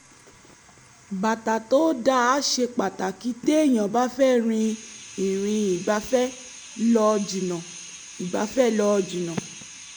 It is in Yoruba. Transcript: bàtà tó dáa ṣe pàtàkì téèyàn bá fẹ́ rin ìrìn ìgbafẹ́ lọ jìnnà ìgbafẹ́ lọ jìnnà